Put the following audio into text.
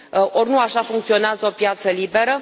Ori nu așa funcționează o piață liberă.